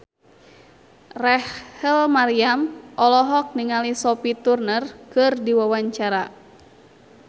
Rachel Maryam olohok ningali Sophie Turner keur diwawancara